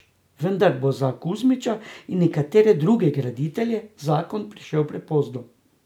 Vendar bo za Kuzmiča in nekatere druge graditelje zakon prišel prepozno.